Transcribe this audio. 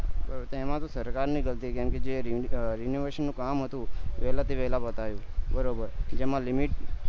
તેમાં તો સરકાર ની ગલતી કેમ જે renovation નું કામ હતું વેલા થી વેલા પતાવ્યું બરોબર જેમાં limit